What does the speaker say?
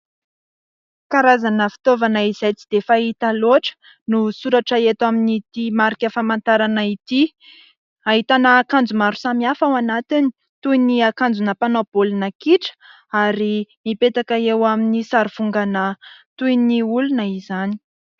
Karazana fitaovana izay tsy dia fahita loatra no soratra eto amin'n'ity marika famantarana ity, hahitana akanjo maro samy hafa ao anatiny toy ny akanjona mpanao baolina kitra ary mipetaka eo amin'ny sary vongana toy ny olona izany.